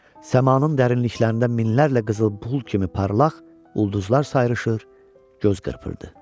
Səmanın dərinliklərində minlərlə qızıl pul kimi parlaq ulduzlar sayrışır, göz qırpırdı.